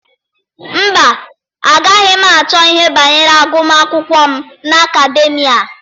Mba, agaghị m achọ ihe banyere agụmakwụkwọ m n'Akademịa.